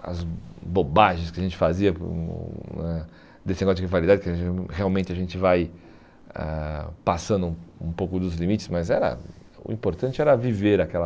as bobagens que a gente fazia por um eh desse negócio de rivalidade, que a gente realmente a gente vai passando um um pouco dos limites, mas era o importante era viver aquela